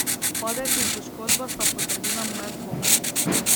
Padec in poškodba sta potrdila moje dvome.